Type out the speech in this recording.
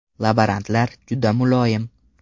Laborantlar juda muloyim.